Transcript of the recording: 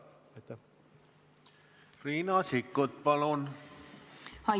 Riina Sikkut, palun!